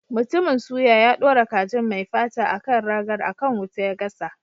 Mutumin suya, ya dora kajin mai fata a kan ragar, a kan wuta ya gasa.